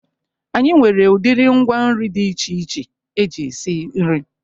Anyị nwere udiri ngwa nri dị iche iche eji esi nri.